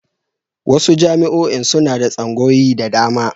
Wasu jami'oin suna da tsangaoyi da dama.